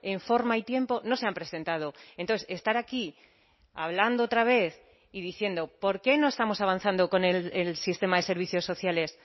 en forma y tiempo no se han presentado entonces estar aquí hablando otra vez y diciendo por qué no estamos avanzando con el sistema de servicios sociales